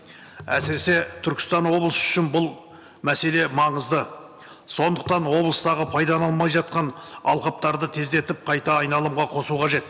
әсіресе түркістан облысы үшін бұл мәселе маңызды сондықтан облыстағы пайдаланылмай жатқан алқаптарды тездетіп қайта айналымға қосу қажет